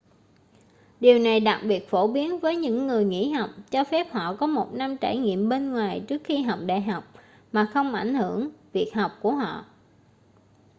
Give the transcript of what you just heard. điều này đặc biệt phổ biến với những người nghỉ học cho phép họ có một năm trải nghiệm bên ngoài trước khi học đại học mà không ảnh hưởng việc học của họ